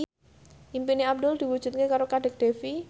impine Abdul diwujudke karo Kadek Devi